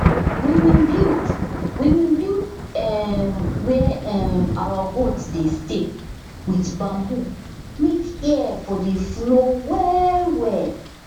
we bin build we bin build um where um out goat dey stay wit bamboo make air for dey flow well well